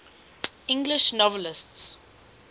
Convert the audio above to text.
english novelists